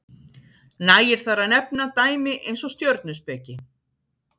nægir þar að nefna dæmi eins og stjörnuspeki